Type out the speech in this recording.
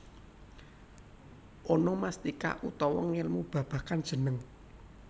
Onomastika utawa ngelmu babagan jeneng